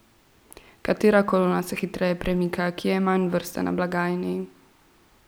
Katera kolona se hitreje premika, kje je manj vrste na blagajni?